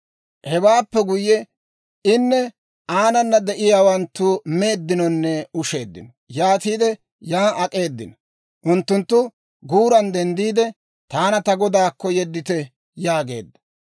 Hewaappe guyye, inne aanana de'iyaawanttu meeddinonne usheeddino; yaatiide yan ak'eedino; unttunttu guuran denddiide, «Taana ta godaakko yeddite» yaageedda.